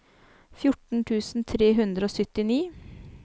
fjorten tusen tre hundre og syttini